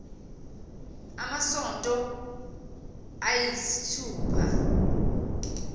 amasonto ay isithupha